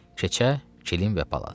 keçə, kilin və palaz.